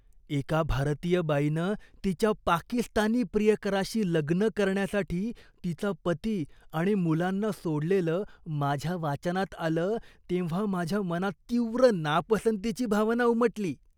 एका भारतीय बाईनं तिच्या पाकिस्तानी प्रियकराशी लग्न करण्यासाठी तिचा पती आणि मुलांना सोडलेलं माझ्या वाचनात आलं तेव्हा माझ्या मनात तीव्र नापसंतीची भावना उमटली.